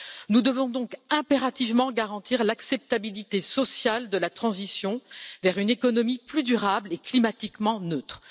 Nous devons donc impérativement garantir l'acceptabilité sociale de la transition vers une économie plus durable et climatiquement neutre.